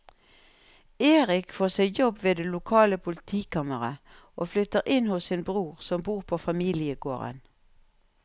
Erik får seg jobb ved det lokale politikammeret og flytter inn hos sin bror som bor på familiegården.